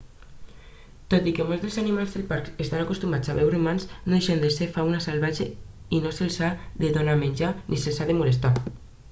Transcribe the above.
tot i que molts dels animals del parc estan acostumats a veure humans no deixen de ser fauna salvatge i no se'ls ha de donar menjar ni se'ls ha de molestar